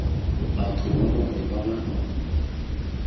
batho ba bangwe ba ba